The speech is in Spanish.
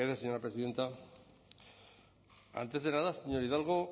gracias señora presidenta antes de nada señor hernández